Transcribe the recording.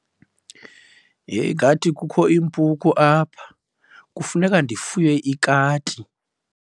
Ngathi kukho iimpuku apha, kufuneka ndifuye ikati.